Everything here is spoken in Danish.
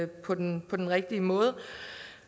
på den på den rigtige måde